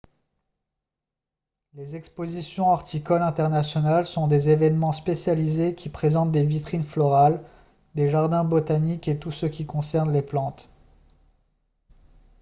les expositions horticoles internationales sont des événements spécialisés qui présentent des vitrines florales des jardins botaniques et tout ce qui concerne les plantes